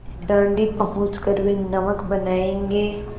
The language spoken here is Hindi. दाँडी पहुँच कर वे नमक बनायेंगे